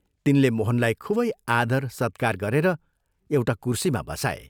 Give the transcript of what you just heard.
तिनले मोहनलाई खूबै आदर सत्कार गरेर एउटा कुर्सीमा बसाए।